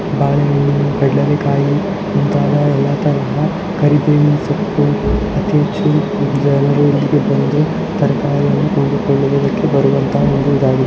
ಬಾಳೆಹಣ್ಣು ಪಡ್ಡೆಲಕಾಯಿ ಕಾರ ಎಲ್ಲಾ ತರಹದ ಕರಿಬೇವು ಸೊಪ್ಪು ಅತಿ ಹೆಚ್ಚು ಜನರು ಇಲ್ಲಿಗೆ--